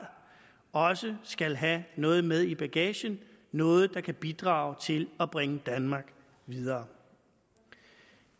også skal have noget med i bagagen noget der kan bidrage til at bringe danmark videre